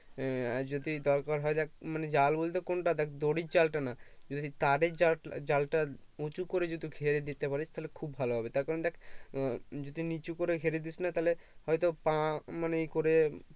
হম আর যদি দরকার হয় দেখ মানে জাল বলতে কোনটা দেখ দড়ির জালটা না যদি তারের জাল টা জাল টা উঁচু যদি ঘিরে দিতে পারিস তাহলে খুব ভাল হবে তার কারণ দেখ যদি নিচু ঘিরে দিস না তাহলে হয়তো পাঁ মানে ই করে